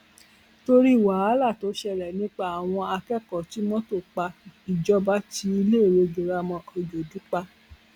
torí wàhálà tó ṣẹlẹ nípa àwọn akẹkọọ tí mọtò pa ìjọba ti iléèwé girama ọjọdù pa